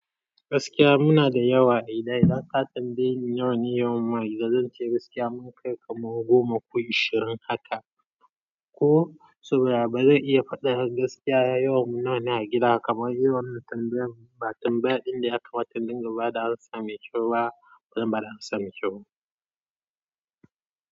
Gaskiya muna da yawa a gida. Idan ka tambaye ni yawan yawan mu a gida zance gaskiya mun kai kamar goma ko ashirin haka. Ko su baya bazan iya fadin gaskiya yawan mu nawa a gida kamar yawan tambayan. Ba tambaya inda ya kamata in dinga bada amsa mai kyau ba, ban zan bada amsa mai kyau.